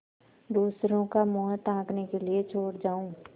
दूसरों का मुँह ताकने के लिए छोड़ जाऊँ